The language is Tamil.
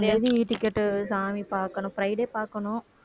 Eticket பாக்கணும் friday பாக்கணும்